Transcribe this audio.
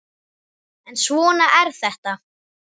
En svona er þetta.